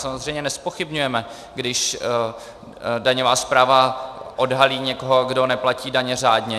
Samozřejmě nezpochybňujeme, když daňová správa odhalí někoho, kdo neplatí daně řádně.